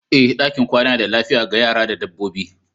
Ee, ɗakin kwana yana da lafiya ga yara da dabbobi.